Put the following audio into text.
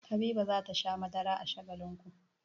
Habiba za ta sha madara a Shagalinku.